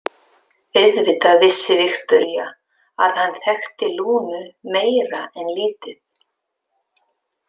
Auðvitað vissi Viktoría að hann þekkti Lúnu meira en lítið.